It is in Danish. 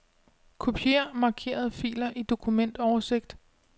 Kopier markerede filer i dokumentoversigt.